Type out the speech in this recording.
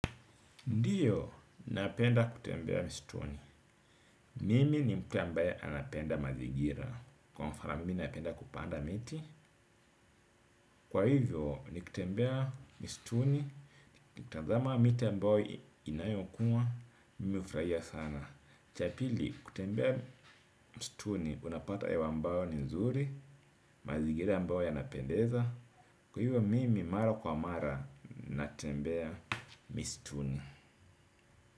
Ndiyo, napenda kutembea mistuni. Mimi ni mtu ambaye anapenda mazigira. Kwa mfano mimi napenda kupanda miti. Kwa hivyo, ni kutembea mistuni, ni kutazama miti ambaye inayokua, mimi ufraia sana. Ch apili, kutembea mistuni, unapata yewa ambayo ni nzuri, mazigira ambayo yanapendeza. Kwa hivyo, mimi mara kwa mara natembea mistuni.